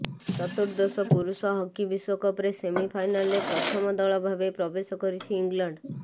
ଚତୁର୍ଦ୍ଦଶ ପୁରୁଷ ହକି ବିଶ୍ବକପରେ ସେମି ଫାଇନାଲରେ ପ୍ରଥମ ଦଳ ଭାବେ ପ୍ରବେଶ କରିଛି ଇଂଲଣ୍ଡ